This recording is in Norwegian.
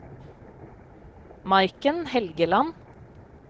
Maiken Helgeland